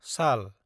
साल